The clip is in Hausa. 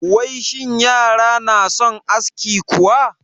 Wai shin yara na son aski kuwa?